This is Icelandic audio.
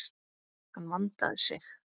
Hann vandaði sig.